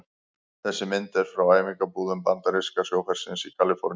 Þessi mynd er frá æfingabúðum bandaríska sjóhersins í Kaliforníu.